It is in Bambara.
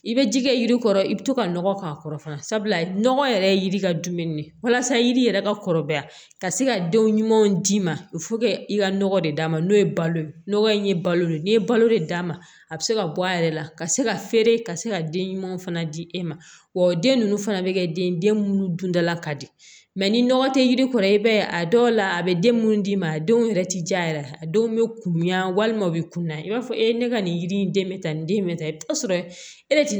I bɛ ji kɛ yiri kɔrɔ i bɛ to ka nɔgɔ k'a kɔrɔ sabula nɔgɔ yɛrɛ ye yiri ka dumini ye walasa yiri yɛrɛ ka kɔrɔbaya ka se ka denw ɲumanw d'i ma i ka nɔgɔ de d'a ma n'o ye balo ye nɔgɔ in ye balo de ye n'i ye balo de d'a ma a bɛ se ka bɔ a yɛrɛ la ka se ka feere ka se ka den ɲumanw fana di e ma wa den ninnu fana bɛ kɛ den mun dundala ka di ni nɔgɔ tɛ yiri kɔrɔ i b'a ye a dɔw la a bɛ den minnu d'i ma a denw yɛrɛ ti ja yɛrɛ a denw bɛ kunya walima u bɛ kunnaya i b'a fɔ e ka nin yiri in den bɛ ta nin den in bɛ ta i bɛ t'a sɔrɔ e yɛrɛ ti